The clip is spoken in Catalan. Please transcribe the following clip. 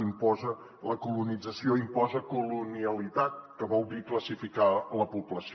imposa la colonització i imposa colonialitat que vol dir classificar la població